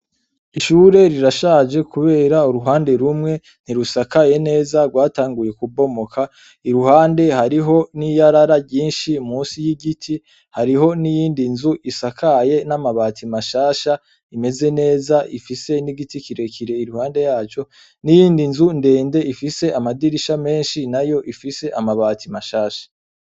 Ishure rirashaje kubera uruhande rumwe ntirusakaye rwatanguye kubomoka, iruhande hariho n'iyarara ryinshi musi y'igiti hariho n'iyindi nzu isakaye n'amabati mashasha imeze neza ifise igiti kirekire iruhande yaco n'iyindi nzu ndende ifise amadirisha menshi nayo ifise amabati mashasha.